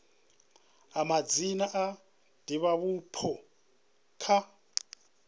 a madzina a divhavhupo kha